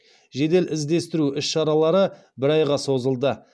жедел іздестіру іс шаралары бір айға созылды